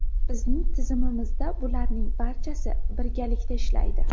Bizning tizimimizda bularning barchasi birgalikda ishlaydi.